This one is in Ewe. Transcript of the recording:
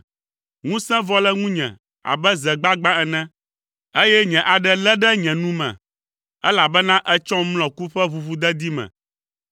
Ŋusẽ vɔ le ŋunye abe ze gbagbã ene, eye nye aɖe lé ɖe nye nu me, elabena ètsɔm mlɔ ku ƒe ʋuʋudedi me.